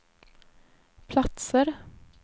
platser